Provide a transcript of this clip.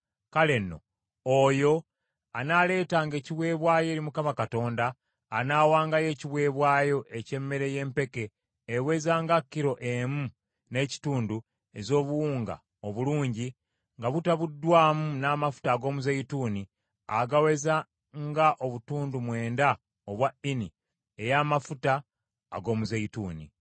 kale nno oyo anaaleetanga ekiweebwayo eri Mukama Katonda anaawangayo ekiweebwayo eky’emmere y’empeke eweza nga kilo emu n’ekitundu ez’obuwunga obulungi, nga mutabuddwamu n’amafuta ag’omuzeeyituuni agaweza nga obutundu mwenda obwa Ini ey’amafuta ag’omuzeeyituuni.